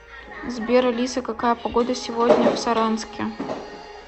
сбер алиса какая погода сегодня в саранске